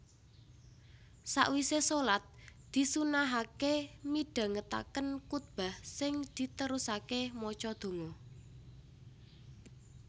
Sawisé shalat disunnahaké midhangetaken kutbah sing diterusaké maca donga